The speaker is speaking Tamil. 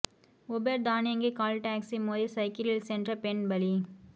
உபெர் தானியங்கி கால் டாக்ஸி மோதி சைக்கிளில் சென்ற பெண் பலி